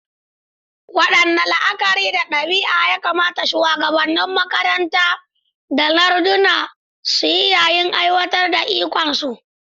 Waɗanne la'akari da ɗabi'a ya kamata shuwagabannin makaranta da larduna su yi yayin aiwatar da ikonsu?